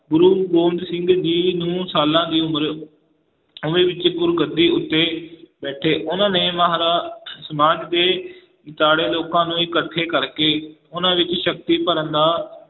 ਗੁਰੂ ਗੋਬਿੰਦ ਸਿੰਘ ਜੀ ਨੂੰ ਸਾਲਾਂ ਦੀ ਉਮਰ ਵਿੱਚ ਗੁਰਗੱਦੀ ਉੱਤੇ ਬੈਠੇ ਉਹਨਾਂ ਨੇ ਸਮਾਜ ਦੇ ਦੁਆਲੇ ਲੋਕਾਂ ਨੂੰ ਇਕੱਠੇ ਕਰਕੇ ਉਹਨਾਂ ਵਿੱਚ ਸ਼ਕਤੀ ਭਰਨ ਦਾ